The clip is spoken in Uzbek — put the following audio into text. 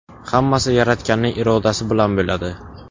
Hammasi Yaratganning irodasi bilan bo‘ladi.